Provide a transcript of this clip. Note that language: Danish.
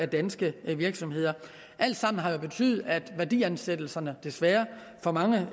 danske virksomheder alt sammen har jo betydet at værdiansættelserne desværre for manges